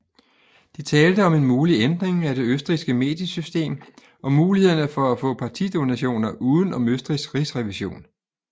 De talte om en mulig ændring af det østrigske mediesystem og mulighederne for at få partidonationer uden om Østrigs rigsrevision